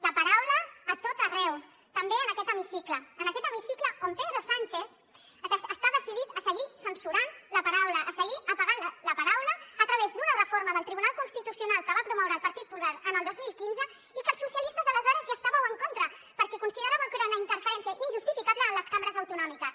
la paraula a tot arreu també en aquest hemicicle en aquest hemicicle on pedro sánchez està decidit a seguir censurant la paraula a seguir apagant la paraula a través d’una reforma del tribunal constitucional que va promoure el partit popular en el dos mil quinze i que els socialistes aleshores hi estàveu en contra perquè consideràveu que era una interferència injustificable en les cambres autonòmiques